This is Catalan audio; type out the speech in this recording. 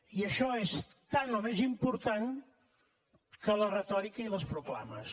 i això és tan o més important que la retòrica i les proclames